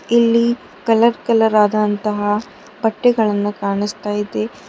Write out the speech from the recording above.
ಇಲ್ಲಿ colour colour ಆದಂತಹ ಬಟ್ಟೆಗಳನ್ನು ಕಾನಸ್ತಾ ಇದೆ.